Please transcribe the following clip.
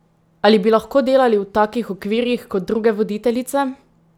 Ali bi lahko delali v takih okvirih kot druge voditeljice?